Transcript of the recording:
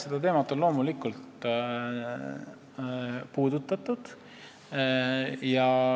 Seda teemat on loomulikult puudutatud.